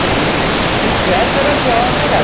Também, se se quiser, pôr a viola na jogada.